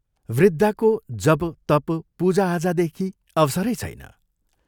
वृद्धाको जप, तप पूजा आजादेखि अवसरै छैन।